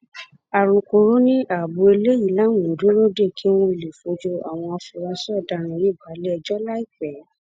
alūkkóró ni abo eléyìí làwọn ń dúró dè kí wọn lè fojú àwọn afurasí ọdaràn yìí balẹẹjọ láìpẹ